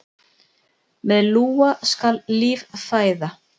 Með lúa skal líf fæða.